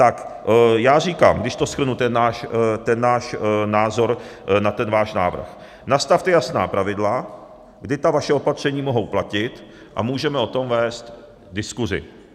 Tak já říkám, když to shrnu, ten náš názor na ten váš návrh, nastavte jasná pravidla, kdy ta vaše opatření mohou platit, a můžeme o tom vést diskuzi.